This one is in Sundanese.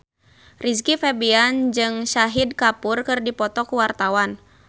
Rizky Febian jeung Shahid Kapoor keur dipoto ku wartawan